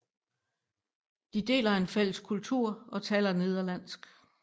De deler en fælles kultur og taler nederlandsk